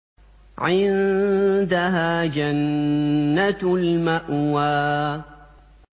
عِندَهَا جَنَّةُ الْمَأْوَىٰ